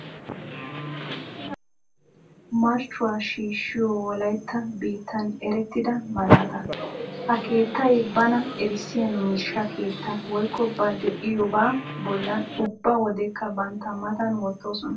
Marccuwa shiishshiyo Wolaytta biittan eretidda malaata. Ha keettay bana erissiya Miishsha Keettaa woykko ba deiyobaa bolan ubba Wodekka bantta matan wotoosona.